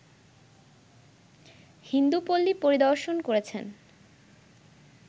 হিন্দুপল্লী পরিদর্শন করেছেন